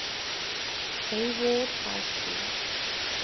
hayward high school